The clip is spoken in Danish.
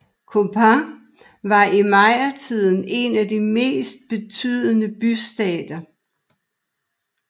Copán var i mayatiden en af de mest betydende bystater